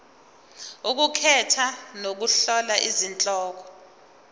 ukukhetha nokuhlola izihloko